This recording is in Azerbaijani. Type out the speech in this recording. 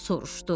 Soruşdu: